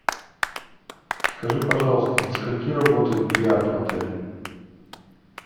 скажи пожалуйста до скольки работает бильярд в отеле